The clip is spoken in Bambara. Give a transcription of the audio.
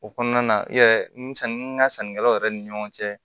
O kɔnɔna na i yɛrɛ n'i ka sannikɛlaw yɛrɛ ni ɲɔgɔn cɛ